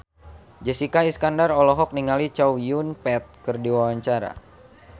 Jessica Iskandar olohok ningali Chow Yun Fat keur diwawancara